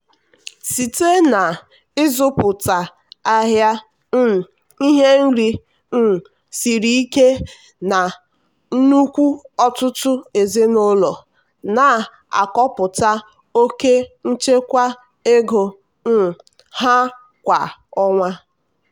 site na-ịzụta ngwa ahịa um ihe nri um siri ike na nnukwu ọtụtụ ezinụlọ na-akọpụta oke nchekwa ego um ha kwa ọnwa.